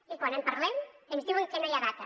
i quan en parlem ens diuen que no hi ha data